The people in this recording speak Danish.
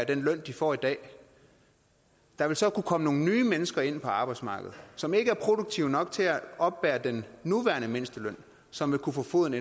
den løn de får i dag der vil så kunne komme nogle nye mennesker ind på arbejdsmarkedet som ikke er produktive nok til at oppebære den nuværende mindsteløn som vil kunne få foden